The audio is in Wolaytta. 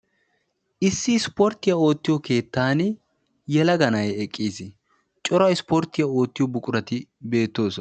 Issi ispporttiya oottiyo keettan yelaga na'ayi eqqis. Cora ispporttiya oottiyo buqurati beettoosona.